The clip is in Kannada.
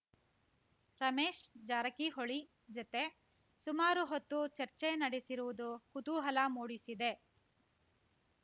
ರಮೇಶ್ ಜಾರಕಿಹೊಳಿ ಜತೆ ಸುಮಾರು ಹೊತ್ತು ಚರ್ಚೆ ನಡೆಸಿರುವುದು ಕುತೂಹಲ ಮೂಡಿಸಿದೆ